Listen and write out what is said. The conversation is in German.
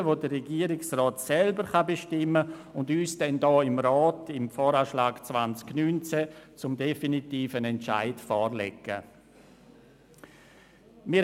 Es sind Korrekturen, über die der Regierungsrat selber bestimmen kann und die er uns dann hier im Rat beim Voranschlag 2019 zum definitiven Entscheid vorlegen kann.